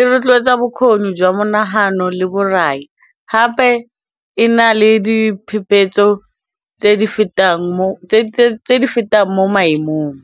e rotloetsa bokgoni jwa monagano le borai gape e na le diphephetso tse di fetang mo maemong.